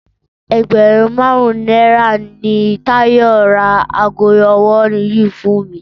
Ẹgbẹ̀rún márùn-ún náírà ni Táyọ̀ ra aago ọwọ́ yìí fún mi